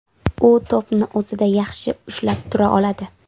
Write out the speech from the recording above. U to‘pni o‘zida yaxshi ushlab tura oladi.